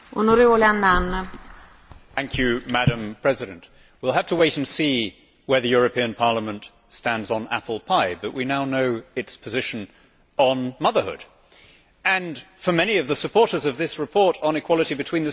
Madam President, we will have to wait and see where the European Parliament stands on apple pie, but we now know its position on motherhood, and for many of the supporters of this report on equality between the sexes, it really is in that category.